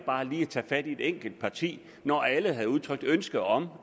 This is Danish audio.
bare lige at tage fat i et enkelt parti når alle havde udtrykt ønske om